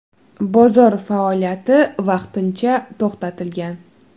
Bozor faoliyati vaqtincha to‘xtatilgan.